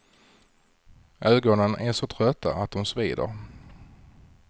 Ögonen är så trötta att de svider.